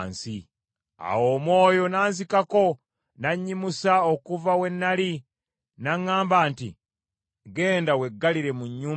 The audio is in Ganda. Awo Omwoyo n’anzikako, n’annyimusa okuva we nnali, n’aŋŋamba nti, “Genda weggalire mu nnyumba yo.